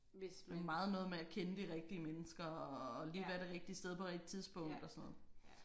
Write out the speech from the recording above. Det er meget noget med at kende de rigtige mennesker og lige være det rigtige sted på rigtig tidspunkt og sådan noget